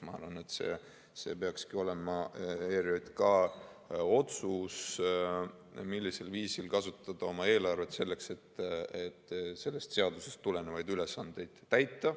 Ma arvan, et see peakski olema ERJK otsus, millisel viisil kasutada oma eelarvet selleks, et sellest seadusest tulenevaid ülesandeid täita.